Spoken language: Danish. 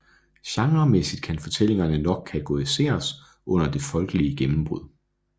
Genremæssigt kan fortællingerne nok kategoriseres under Det Folkelige Gennembrud